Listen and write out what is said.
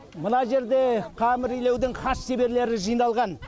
мына жерде қамыр илеудің хас шеберлері жиналған